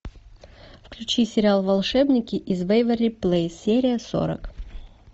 включи сериал волшебники из вэйверли плэйс серия сорок